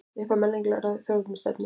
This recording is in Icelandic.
Upphaf menningarlegrar þjóðernisstefnu